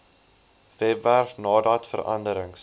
webwerf nadat veranderings